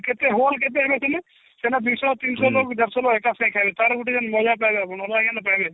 କେତେ hole କେତେ ଅଛନ୍ତି ସେନା ଦିଶ ତିନିଶ ଲୋଗଜାର ସବୁ ଏକ ସାଙ୍ଗରେ ଖାଇବେ ତାର ଗୁଟିଏ ମଜା ପାଇବା ଅଲଗା ମଜା ଆଜ୍ଞା ତ ପାଇବେ